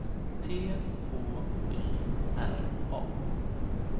T H Y R A